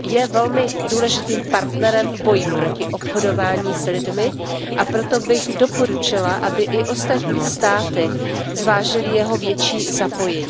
je velmi důležitým partnerem v boji proti obchodování s lidmi, a proto bych doporučila, aby i ostatní státy zvážily jeho větší zapojení.